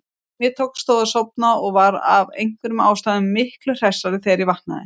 Mér tókst þó að sofna og var af einhverjum ástæðum miklu hressari þegar ég vaknaði.